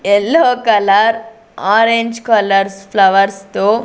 yellow colour orange colours flowers తో--